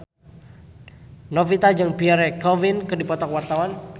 Novita Dewi jeung Pierre Coffin keur dipoto ku wartawan